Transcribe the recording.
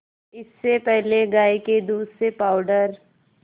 इससे पहले गाय के दूध से पावडर